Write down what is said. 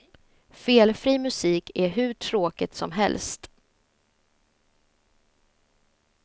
Felfri musik är hur tråkigt som helst.